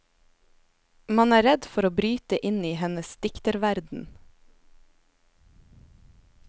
Man er redd for å bryte inn i hennes dikterverden.